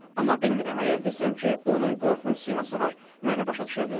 Amma bilmirəm əgər desəm ki, onun qorxunc siması var, məni başa düşənlərdirmi?